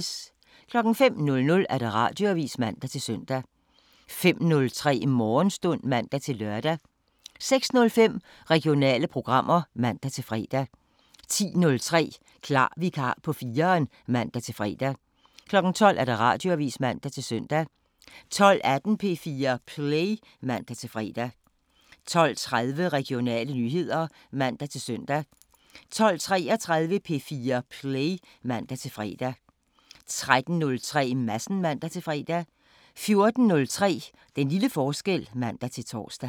05:00: Radioavisen (man-søn) 05:03: Morgenstund (man-lør) 06:05: Regionale programmer (man-fre) 10:03: Klar vikar på 4'eren (man-fre) 12:00: Radioavisen (man-søn) 12:18: P4 Play (man-fre) 12:30: Regionale nyheder (man-søn) 12:33: P4 Play (man-fre) 13:03: Madsen (man-fre) 14:03: Den lille forskel (man-tor)